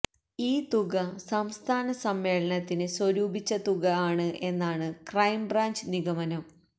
ഈ തുക സംസ്ഥാന സമ്മേളനത്തിന് സ്വരൂപിച്ച തുക ആണ് എന്നാണ് ക്രൈം ബ്രാഞ്ച് നിഗമനം